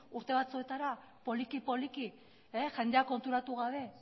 urte batzuetara poliki poliki jendea konturatu gabe